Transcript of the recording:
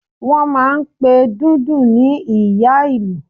Wọ́n máà ń pe Dundun ní Ìyá Ìlú